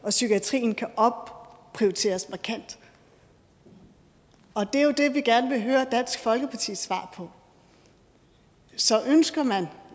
og psykiatrien kan opprioriteres markant og det er jo det vi gerne vil høre dansk folkepartis svar på så ønsker man